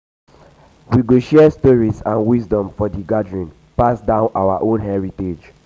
we go share stories and wisdom for di gathering pass down our heritage.